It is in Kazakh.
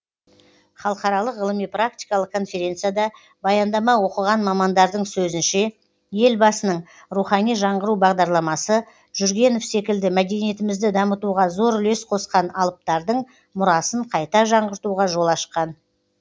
халықаралық ғылыми практикалық конференцияда баяндама оқыған мамандардың сөзінше елбасының рухани жаңғыру бағдарламасы жүргенов секілді мәдениетімізді дамытуға зор үлес қосқан алыптардың мұрасын қайта жаңғыртуға жол ашқан